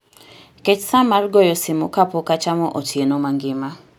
Ket sa mar goyo simo ka pok achamo otieno mangima